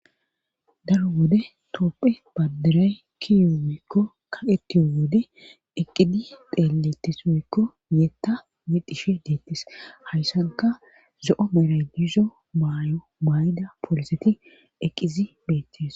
daro wode toopphe badiray kiyo wikko kaqetiyo wode eqqidi deeletis wiikko yetta mi dishe deettis hayssanka zo7o meraydizo baayo baayda pooliseti eqqizi beettes